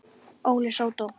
Óli sódó!